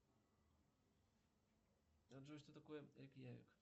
джой что такое рейкьявик